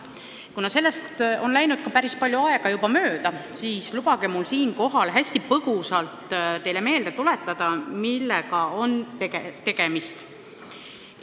Kuna sellest on läinud juba päris palju aega mööda, siis lubage mul siinkohal hästi põgusalt teile meelde tuletada, millega on tegemist.